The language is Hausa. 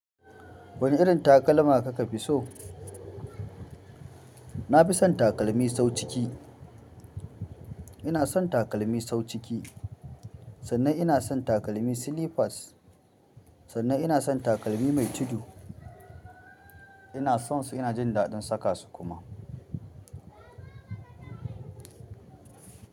Wane irin takalma kake fi so? Na fi son takalmi sau ciki. Ina son takalmi sau ciki, sannan ina son takalmi slippers, sannan ina son takalmi mai tudu. Ina son su ina jin daɗin saka su kuma.